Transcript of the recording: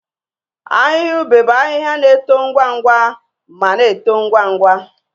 Ahịhịa ube bụ ahịhịa na-eto ngwa ngwa ma na-eto ngwa ngwa.